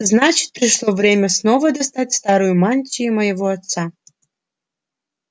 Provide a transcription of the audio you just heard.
значит пришло время снова достать старую мантию моего отца